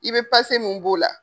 I be mun b'o la.